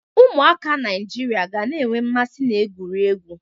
Ụmụaka Naịjirịa ga na-enwe mmasị n'egwuregwu.